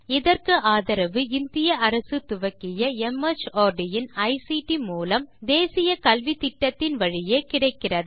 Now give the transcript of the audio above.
இதற்கு ஆதரவு இந்திய அரசு துவக்கிய மார்ட் இன் ஐசிடி மூலம் தேசிய கல்வித்திட்டத்தின் வழியே கிடைக்கிறது